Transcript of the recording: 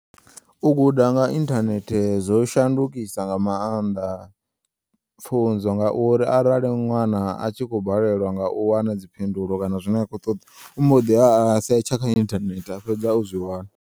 U guda nga inthanehte zwo shandukisa nga maanḓa pfunzo ngauri arali ṅwana a tshi kho balelwa nga u wana dzi phindulo kana zwine a kho ṱoḓa u mbo ḓiya a setsha kha inthanethe a fhedza o zwi wana.